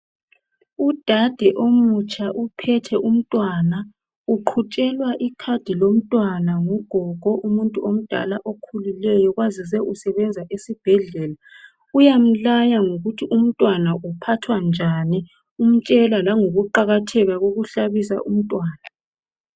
Udade omutsha uphethe umntwana uqhutshelwa ikhadi lomntwana ngugogo umuntu omdala okhulileyo kwazise usebenza esibhedlela uyamlaya ngokuthi umntwana uphathwa njani umtshela langokuqakatheka kokuhlabisa umntwana.